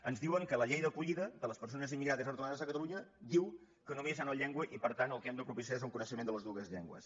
ens diuen que la llei d’acollida de les persones immigrades i retornades a catalunya diu que només hi ha una llengua i per tant el que hem de propici·ar és un coneixement de les dues llengües